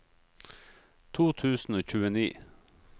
to tusen og tjueni